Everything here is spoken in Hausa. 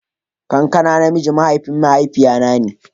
Kakana na miji mahaifin mahaifiya na ne.